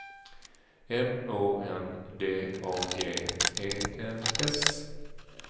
M Å N D A G E N S